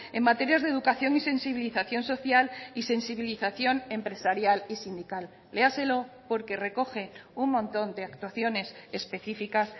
en materias de educación y sensibilización social y sensibilización empresarial y sindical léaselo porque recoge un montón de actuaciones específicas